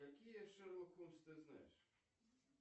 какие шерлок холмс ты знаешь